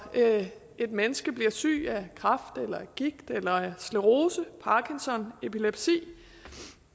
et menneske bliver syg af kræft eller gigt eller sklerose parkinson epilepsi jeg